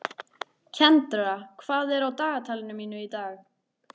Kendra, hvað er á dagatalinu mínu í dag?